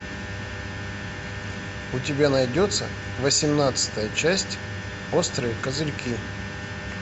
у тебя найдется восемнадцатая часть острые козырьки